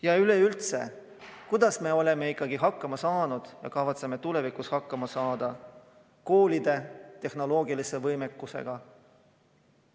Ja üleüldse, kuidas me oleme hakkama saanud ja kavatseme tulevikus hakkama saada koolide tehnoloogilise võimekusega?